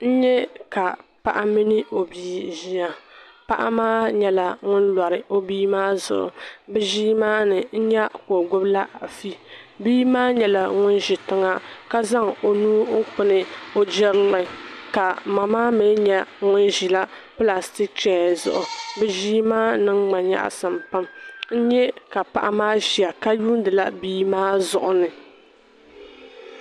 N yɛ ka paɣa mini o bii ziya paɣa maa yɛla ŋuni lori o bia maa zuɣu bi zii mma ni nyɛ ka o gbubila afi bia maa yɛla ŋuni zi tiŋa ka zaŋ o nuu n tabi o girili kama maa mi yɛla ŋun zi plasitik chɛya zuɣu bi zii maa niŋma yɛɣisim pam n yɛ ka paɣa maa ziya ka lihiri bia maa zuɣu ni.